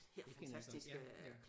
Det kender jeg godt ja ja